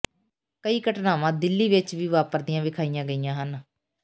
ਕਈ ਘਟਨਾਵਾਂ ਦਿੱਲੀ ਵਿਚ ਵੀ ਵਾਪਰਦੀਆਂ ਵਿਖਾਈਆਂ ਗਈਆਂ ਹਨ